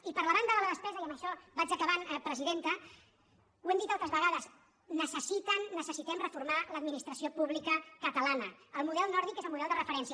i per la banda de la despesa i amb això vaig acabant presidenta ho hem dit altres vegades necessiten ne·cessitem reformar l’administració pública catalana el model nòrdic és el model de referència